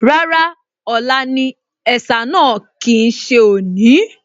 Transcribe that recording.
Rárá, ọ̀la ni ẹ̀sà náà kì í ṣe òní